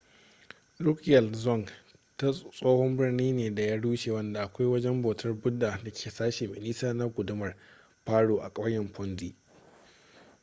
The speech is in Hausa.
drukgyal dzong tsohon birni ne da ya rushe wanda akwai wajen bautar buddha da ke sashi mai nisa na gundumar paro a ƙauyen phondey